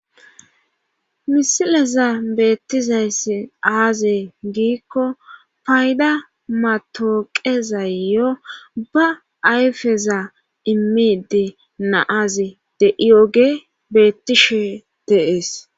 misileza beettizayssi aaze giikko payda matooqezayyo ba ayfeza immide naaze de iyoge beettishe de'ees.